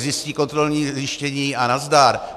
Zjistí kontrolní zjištění a nazdar.